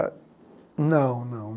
Não, não.